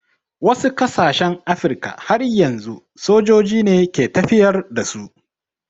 Wasu ƙasashen Afirka har yanzu sojoji ne ke tafiyar da su.